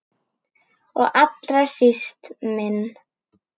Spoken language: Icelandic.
Og allra síst minn.